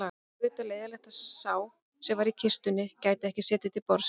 Auðvitað leiðinlegt að sá sem var í kistunni gæti ekki setið til borðs